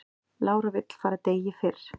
Lára vill fara degi fyrr